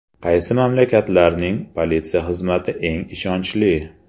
Qaysi mamlakatlarning politsiya xizmati eng ishonchli?